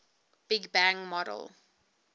big bang model